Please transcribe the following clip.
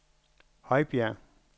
Højbjerg